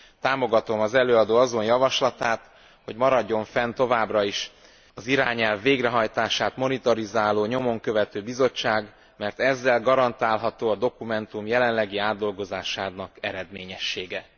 Támogatom az előadó azon javaslatát, hogy maradjon fenn továbbra is az irányelv végrehajtását monitorizáló nyomon követő bizottság, mert ezzel garantálható a dokumentum jelenlegi átdolgozásának eredményessége.